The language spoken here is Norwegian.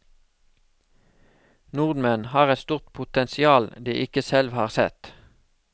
Nordmenn har et stort potensial de ikke selv har sett.